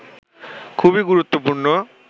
খুবই গুরুত্বপূর্ণ